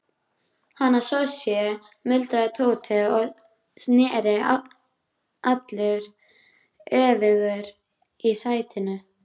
Hana Sonju? muldraði Tóti og sneri allur öfugur í sætinu.